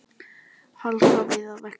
Hálka víða á vegum